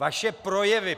Vaše projevy!